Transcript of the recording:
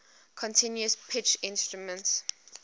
continuous pitch instruments